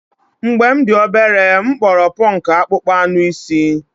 Mgbe m dị obere, m kpọrọ ponku akpụkpọ anụ asị.